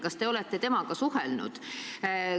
Kas te olete temaga suhelnud?